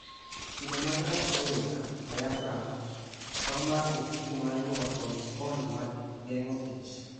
Kido mag rap oyunga, diaphragm, tong' mar ofuku mar nyuol kod sponj mag geng'o ich.